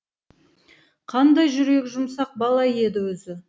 қандай жүрегі жұмсақ бала еді өзі